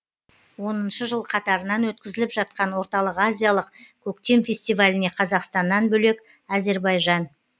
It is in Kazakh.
оныншы жыл қатарынан өткізіліп жатқан орталық азиялық көктем фестиваліне қазақстаннан бөлек әзербайжан